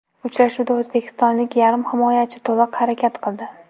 Uchrashuvda o‘zbekistonlik yarim himoyachi to‘liq harakat qildi.